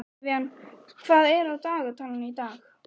Ég fann að hræðslan var að taka yfirhöndina.